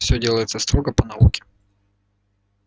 все делается строго по науке